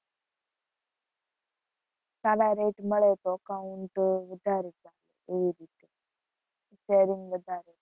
સારા rate મળે તો account વધારે ચાલે એવી રીતે sharing વધારે.